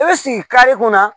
I bɛ sigi kare kɔnɔ